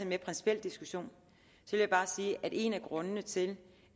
mere principiel diskussion vil jeg bare sige at en af grundene til